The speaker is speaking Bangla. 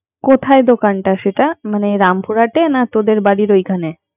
কোথায় দোকানটা সেটা? মান রামপুরাতে না তোদের বাড়ির ওই খানে